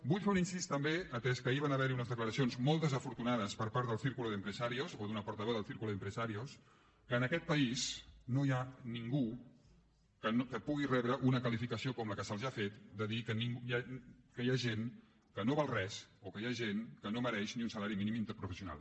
vull fer un incís també atès que ahir van haver hi unes declaracions molt desafortunades per part del círculo de empresarios o d’una portaveu del círculo de empresarios que en aquest país no hi ha ningú que pugui rebre una qualificació com la que se’ls ha fet de dir que hi ha gent que no val res o que hi ha gent que no mereix ni un salari mínim interprofessional